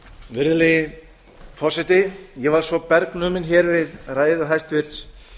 virðulegi forseti ég var svo bergnuminn við ræðu hæstvirts